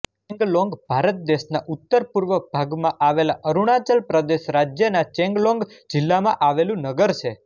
ચેંગલોન્ગ ભારત દેશના ઉત્તરપૂર્વ ભાગમાં આવેલા અરુણાચલ પ્રદેશ રાજ્યના ચેંગલોન્ગ જિલ્લામાં આવેલું નગર છે